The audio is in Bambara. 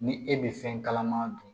Ni e bɛ fɛn kalama dun